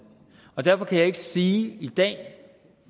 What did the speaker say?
og derfor kan jeg ikke sige